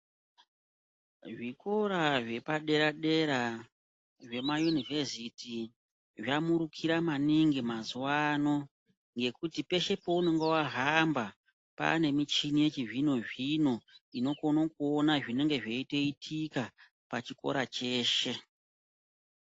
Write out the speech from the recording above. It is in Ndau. Zvikora zvepadera-dera zvemayunivhesiti zvamurukira maningi mazuva ano ngekuti peshe pounonga wahamba paanemichini yechizvino-zvino inokone kuona zvinenge zveitoitika pachikora cheshe.